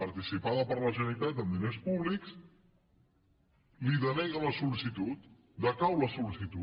participada per la generalitat amb diners públics li deneguen la sol·licitud decau la sol·licitud